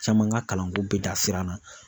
Caman ka kalanko bɛ dan sira la.